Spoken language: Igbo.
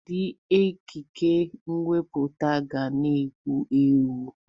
Ụdị ekike nkwuputa ga na-ewu ewu.